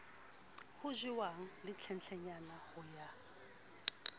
ho jewang hlenhlenyane ho ya